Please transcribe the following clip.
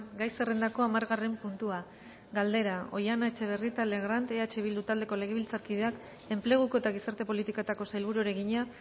gai zerrendako hamargarren puntua galdera oihana etxebarrieta legrand eh bildu taldeko legebiltzarkideak enpleguko eta gizarte politiketako sailburuari egina